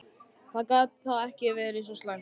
Það gat þá ekki verið svo slæmt.